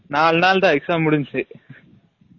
நாலு நால் தான் exam முடின்சு